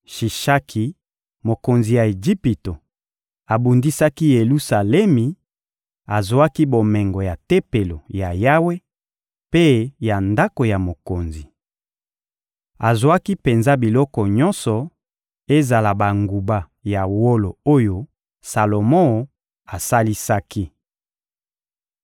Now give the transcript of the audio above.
Shishaki, mokonzi ya Ejipito, abundisaki Yelusalemi, azwaki bomengo ya Tempelo ya Yawe mpe ya ndako ya mokonzi. Azwaki penza biloko nyonso, ezala banguba ya wolo oyo Salomo asalisaki.